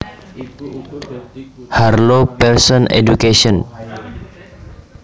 Harlow Pearson Education